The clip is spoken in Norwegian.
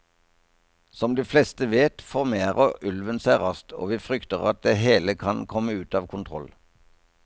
Som de fleste vet, formerer ulven seg raskt, og vi frykter at det hele kan komme ut av kontroll.